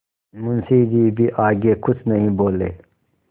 मुंशी जी भी आगे कुछ नहीं बोले